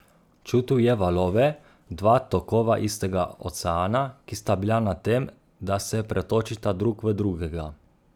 Čutil je valove, dva tokova istega oceana, ki sta bila na tem, da se pretočita drug v drugega.